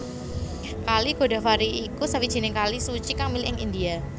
Kali Godavari iku sawijining kali suci kang mili ing India